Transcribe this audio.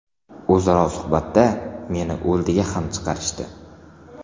O‘zaro suhbatda meni o‘ldiga ham chiqarishdi.